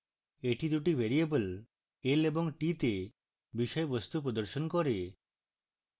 এটি দুটি variable l এবং t তে বিষয়বস্তু প্রদর্শন করবে